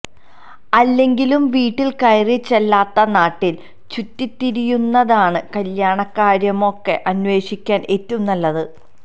അല്ലെങ്കിലും വീട്ടിൽ കയറിച്ചെല്ലാതെ നാട്ടിൽ ചുറ്റിത്തിരിയുന്നതാ കല്യാണക്കാര്യമൊക്കെ അന്വേഷിക്കാൻ ഏറ്റവും നല്ലത്